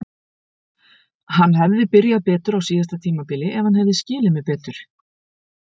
Hann hefði byrjað betur á síðasta tímabili ef hann hefði skilið mig betur.